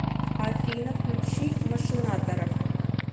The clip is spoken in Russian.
афина включи машинаторов